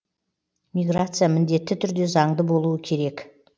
миграция міндетті түрде заңды болуы керек